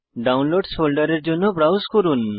ডাউনলোডসহ ফোল্ডারের জন্য ব্রাউজ করুন